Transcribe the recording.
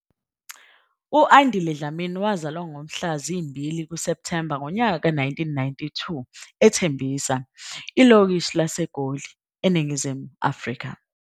U-Andile Dlamini wazalwa ngomhlaka 2 Septhemba 1992 eTembisa, ilokishi laseGoli, eNingizimu Afrika.